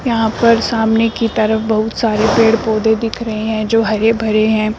यहां पर सामने की तरफ बहुत सारे पेड़ पौधे दिख रहे हैं जो की हरे भरे हैं।